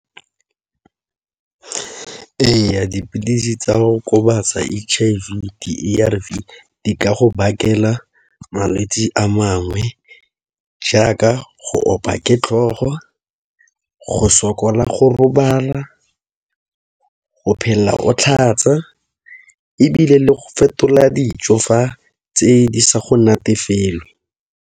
Ee, dipilisi tsa okobatsa H_I_V, di-A_R_V di ka go bakela malwetse a mangwe jaaka go opa ke tlhogo, go sokola go robala, go phela o tlhatsa ebile le go fetola dijo fa tse di sa go natefele.